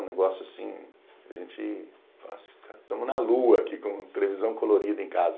Um negócio assim, a gente fala assim, tá, estamos na lua aqui com televisão colorida em casa.